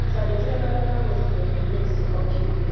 Twandĩkĩre marũa ma gũcũnga mũrimũ ũcio o kiumia